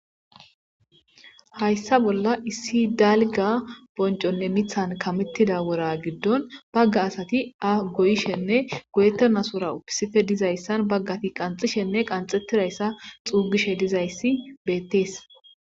Haysa bolla issi dalga boncon kametida wora gidon baga asati aho koyishe nne goyetidasora issippe dizaysa bagati qaxishenne bagati qaxetidaysa xugishe dizaysi betes